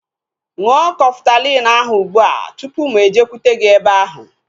Ṅụọ Kọftalin ahu ụgbụa tụpụ mụ ejekwute gị ebe ahu